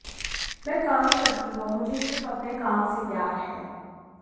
मैं काम करती हूं और मुझे सिर्फ अपने काम से प्यार है